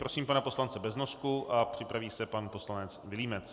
Prosím pana poslance Beznosku a připraví se pan poslanec Vilímec.